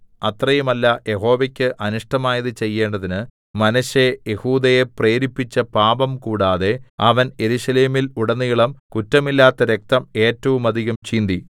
അത്രയുമല്ല യഹോവയ്ക്ക് അനിഷ്ടമായത് ചെയ്യേണ്ടതിന് മനശ്ശെ യെഹൂദയെ പ്രേരിപ്പിച്ച പാപം കൂടാതെ അവൻ യെരൂശലേമിൽ ഉടനീളം കുറ്റമില്ലാത്ത രക്തം ഏറ്റവും അധികം ചിന്തി